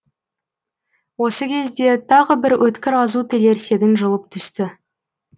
осы кезде тағы бір өткір азу тілерсегін жұлып түсті